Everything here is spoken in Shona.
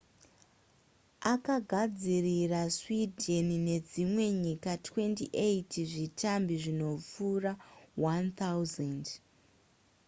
akagadzirira sweden nedzimwe nyika 28 zvitambi zvinopfuura 1 000